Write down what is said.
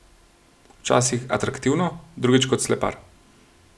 Včasih atraktivno, drugič kot slepar.